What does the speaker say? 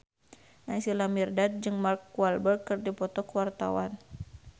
Naysila Mirdad jeung Mark Walberg keur dipoto ku wartawan